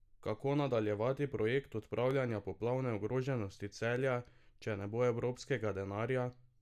Kako nadaljevati projekt odpravljanja poplavne ogroženosti Celja, če ne bo evropskega denarja?